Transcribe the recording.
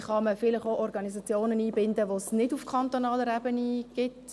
Wie kann man vielleicht auch Organisationen einbinden, die es nicht auf kantonaler Ebene gibt?